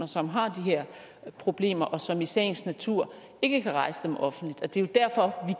som har de her problemer og som i sagens natur ikke kan rejse dem offentligt det er jo derfor at